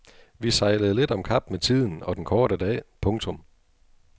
Vi sejlede lidt om kap med tiden og den korte dag. punktum